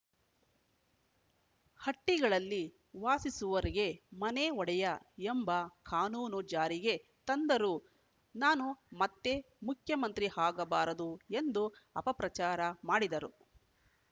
ಹಟ್ಟಿಗಳಲ್ಲಿ ವಾಸಿಸುವರಿಗೆ ಮನೆ ಒಡೆಯ ಎಂಬ ಕಾನೂನು ಜಾರಿಗೆ ತಂದರೂ ನಾನು ಮತ್ತೆ ಮುಖ್ಯಮಂತ್ರಿ ಆಗಬಾರದು ಎಂದು ಅಪಪ್ರಚಾರ ಮಾಡಿದರು